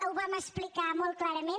ho vam explicar molt clarament